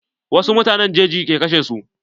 Wasu mutanen jeji ke kashe su.